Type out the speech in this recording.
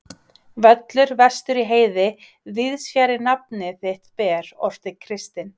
Völlur vestur í heiði, víðs fjarri nafn þitt ber, orti Kristinn.